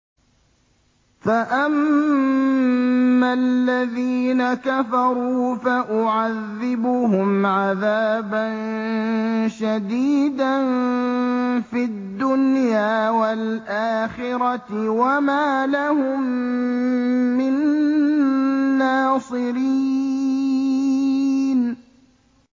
فَأَمَّا الَّذِينَ كَفَرُوا فَأُعَذِّبُهُمْ عَذَابًا شَدِيدًا فِي الدُّنْيَا وَالْآخِرَةِ وَمَا لَهُم مِّن نَّاصِرِينَ